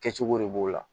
Kɛcogo de b'o la